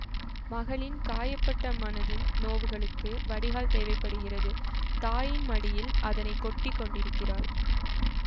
மகளின் காயப்பட்ட மனத்தின் நோவுகளுக்கு வடிகால் தேவை படுகின்றது தாயின் மடியில் அதனை கொட்டி கொண்டிருக்கிறாள்